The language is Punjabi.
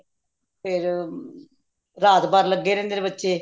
ਫ਼ੇਰ ਰਾਤ ਭਰ ਲੱਗੇ ਰਹਿੰਦੇ ਨੇ ਬੱਚੇ